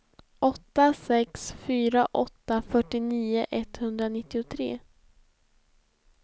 åtta sex fyra åtta fyrtionio etthundranittiotre